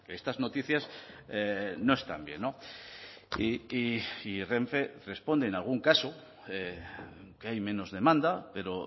estas noticias no están bien y renfe responde en algún caso que hay menos demanda pero